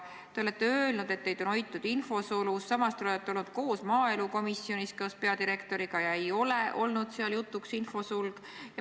Te olete öelnud, et teid on hoitud infosulus, samas olete te olnud maaelukomisjonis koos peadirektoriga ja seal ei ole infosulg jutuks tulnud.